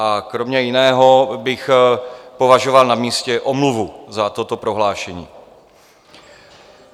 A kromě jiného bych považoval na místě omluvu za toto prohlášení.